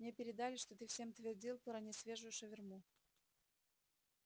мне передали что ты всем твердил про несвежую шаверму